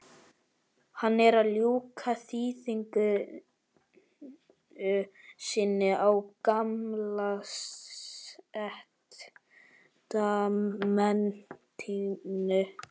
Hann er að ljúka þýðingu sinni á gamla testamentinu.